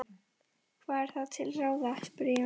Hvað er þá til ráða? spurði Jón.